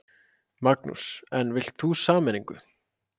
Magnús: En vilt þú sameiningu?